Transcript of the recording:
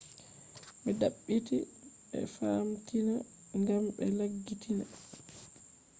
be dabbiti e famtina gam be laggitiina